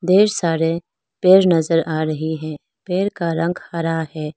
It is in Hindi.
ढ़ेर सारे पेर नजर आ रहे है पेर का रंग हरा है।